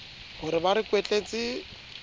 ho re ba re kwetletse